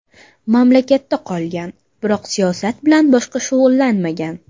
Mamlakatda qolgan, biroq siyosat bilan boshqa shug‘ullanmagan.